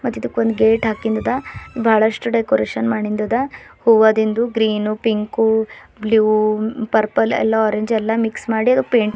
ಇಡಕೊಂದ್ gate ಅಕ್ಕಿಂದ್ ಅದ ಬಹಳಷ್ಟು ಡೇಕೋರೇಷನ್ ಮಾಡಿಂದ್ ಅದ ಹೂವದಿಂದು green pink blue purple ಎಲ್ಲಾ ಆರೆಂಜ್ ಎಲ್ಲ ಮಿಕ್ಸ ಮಾಡಿರ್ ಪೇಂಟ್ .